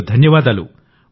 మీకు ధన్యవాదాలు